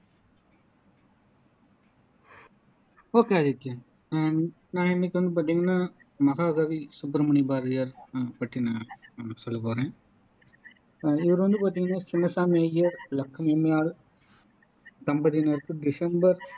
okay Adithyan நான் இன்னைக்கு வந்து பாத்திங்கன்னா மகாகவி சுப்பிரமணிய பாரதியார் பற்றி நான் உங்களுக்கு சொல்ல போறேன் அஹ் இவர் வந்து பாத்திங்கன்னா சின்னசாமி ஐயர் இலக்குமி அம்மையார் தம்பதியினருக்கு மிகுந்த